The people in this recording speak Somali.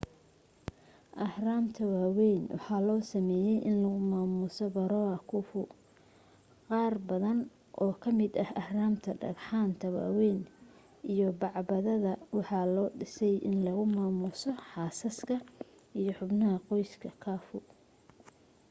ahraamta waawayn waxaa loo sameeyay in lagu maamuso pharaoh khufu qaarbadan oo kamida ahraamta dhagxaanta waweyn iyo bacbadada waxaa loo dhisay in lagu maamuuso xaasaska iyo xubnaha qoyska khafu